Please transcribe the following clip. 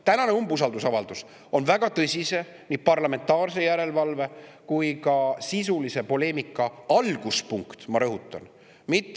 Tänane umbusaldusavaldus on väga tõsise nii parlamentaarse järelevalve kui ka sisulise poleemika alguspunkt, ma rõhutan.